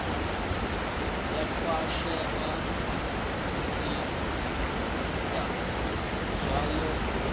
ya khwashea zwipida zwavho u